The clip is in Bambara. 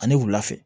Ani wula fɛ